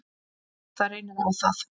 Ef það reynir á það.